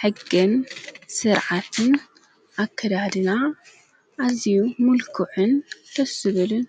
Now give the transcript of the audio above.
ሕግን ሥርዓትን ኣከዳድና ኣዚዩ ምልኩዕን ደስ ዝብልን